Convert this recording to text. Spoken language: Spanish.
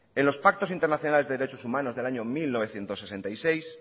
en los pactos internacionales de derechos humanos del año mil novecientos sesenta y seis